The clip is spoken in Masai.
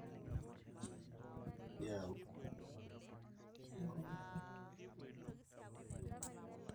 ore nkujit naatoito naa keshum enchalan te pasentj e tomon o imiet